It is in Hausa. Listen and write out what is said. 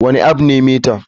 Wane app ne meta?